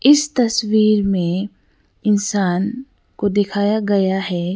इस तस्वीर में इंसान को दिखाया गया है।